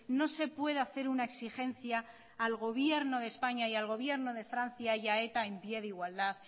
no se puede hacer una exigencia al gobierno de españa y al gobierno de francia y a eta en pie de igualdad